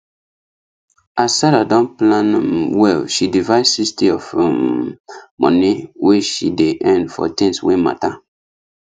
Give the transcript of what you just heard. as sarah don plan m well she divide sixty of um money wey she dey earn for things wey matter